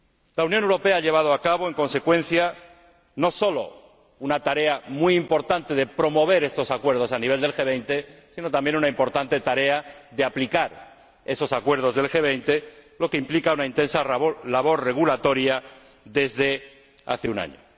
La Unión Europea ha llevado a cabo, en consecuencia, no sólo una tarea muy importante de promoción de estos acuerdos a nivel del G 20, sino también una importante tarea de aplicación de esos acuerdos del G 20, lo que implica una intensa labor regulatoria desde hace un año.